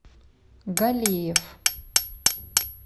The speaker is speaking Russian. галеев